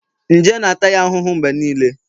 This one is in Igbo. nje na-ata ya ahụhụ mgbe niile